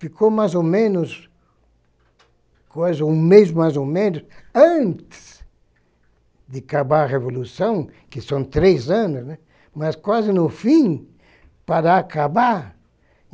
Ficou mais ou menos, quase um mês mais ou menos, antes de acabar a Revolução, que são três anos, né, mas quase no fim, para acabar.